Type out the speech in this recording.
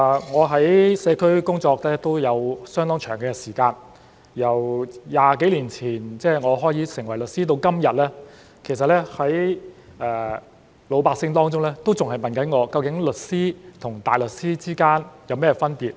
我在社區工作都有相當長時間，由20幾年前我成為律師到今日，其實老百姓還在問我：究竟律師與大律師之間有甚麼分別？